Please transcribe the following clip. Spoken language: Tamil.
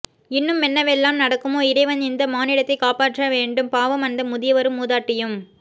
இன்னுமென்னவெல்லாம் நடக்குமோ இறைவன் இந்தமானிடத்தைக்காப்பாற்றவேண்டும் பாவம் அந்த முதியவரும் மூதாட்டியும்